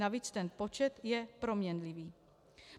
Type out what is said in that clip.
Navíc ten počet je proměnlivý.